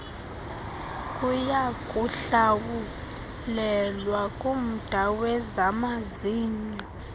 kuyakuhlawulelwa kumda wezamazinyo